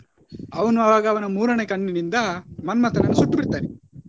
ಅವನು ಆಗ ಅವನ ಮೂರನೇ ಕಣ್ಣಿನಿಂದ ಮನ್ಮತನನ್ನು ಸುಟ್ಟು ಬಿಡ್ತಾನೆ.